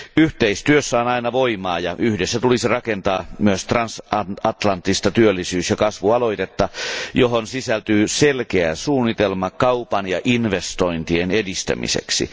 Yhteistyössä on aina voimaa, ja yhdessä tulisi rakentaa myös transatlanttista työllisyys ja kasvualoitetta, johon sisältyy selkeä suunnitelma kaupan ja investointien edistämiseksi.